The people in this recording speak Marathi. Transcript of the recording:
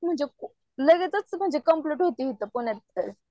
म्हणजे लगेचच म्हणजे कंप्लीट होते इथे पुण्यात तर .